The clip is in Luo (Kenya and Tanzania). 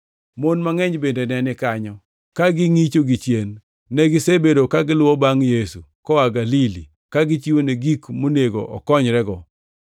Mon mangʼeny bende ne ni kanyo, ka ngʼicho gichien. Negisebedo ka giluwo bangʼ Yesu koa Galili ka gichiwone gik monego okonyrego.